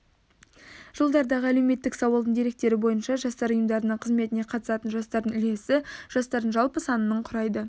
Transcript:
жылдардағы әлеуметтік сауалдың деректері бойынша жастар ұйымдарының қызметіне қатысатын жастардың үлесі жастардың жалпы санының құрайды